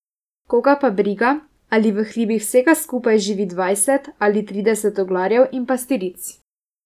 Koga pa briga ali v hribih vsega skupaj živi dvajset ali trideset oglarjev in pastiric.